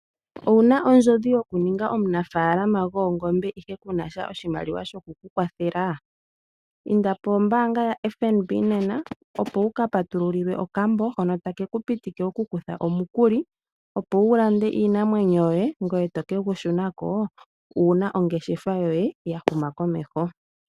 Owuna ondjodhi yokuninga omunafaalama gwoongombe ihe kunasha oshimaliwa shoku kukwathela. Inda pombaanga ya FNB opo wuka patulule okambo hono take ku pitike wukuthe omukuli opo wulande iinamwenyo yoye ngoye to kegu shunako uuna ongeshefa yoye ya huma komeho.